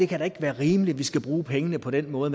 kan være rimeligt at vi skal bruge pengene på den måde